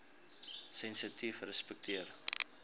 sensitiefrespekteer